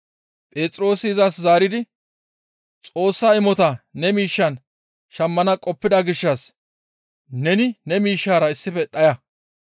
Phexroosi izas zaaridi, «Xoossa imota ne miishshan shammana qoppida gishshas neni ne miishshara issife dhaya.